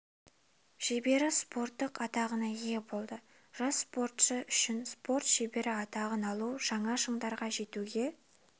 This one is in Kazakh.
шебері спорттық атағына ие болды жас спортшы үшін спорт шебері атағын алу жаңа шыңдарға жетуге